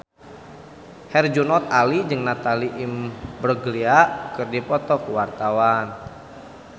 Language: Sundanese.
Herjunot Ali jeung Natalie Imbruglia keur dipoto ku wartawan